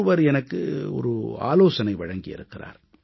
ஒருவர் எனக்கு ஒரு ஆலோசனை வழங்கி இருக்கிறார்